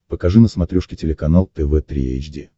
покажи на смотрешке телеканал тв три эйч ди